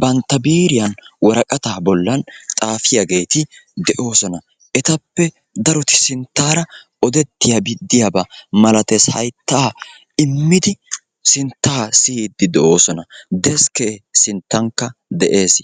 bantta biiriya woraqqata bollan xaafiyaageeti de'oosona. Etappe daroti sinttaara odetiyaabi diyaaba malatees hayttaa immidi sintta siyyidi de'oosona. Deskke sinttankka de'ees.